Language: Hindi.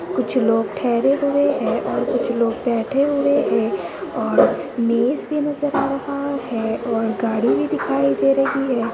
कुछ लोग ठेहरे हुए हैं और कुछ बैठे हुए हैं और मेज भी नजर आ रहा है और गाड़ी भी दिखाई दे रही है।